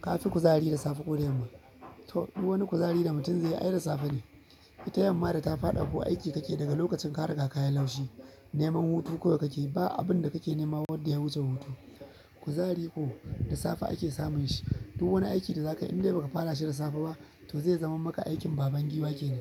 Ka fi kuzari da safe ko da yamma? To, duk wani kuzari da mutum zai yi ai da safe ne. Ita yamma da ta faɗa ko aiki kake daga lokacin ka riga kayi laushi, neman hutu kawai kake yi ba abun da kake nema wanda ya wuce hutu. Kuzari ko da safe ake samun shi duk wani aiki da zaka yi indai baka fara shi da safe ba to zai zama maka aikin baban giwa kenan.